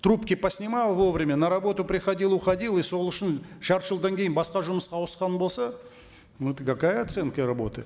трубки поснимал вовремя на работу приходил уходил и сол үшін жарты жылдан кейін басқа жұмысқа ауысқан болса ну это какая оценка работы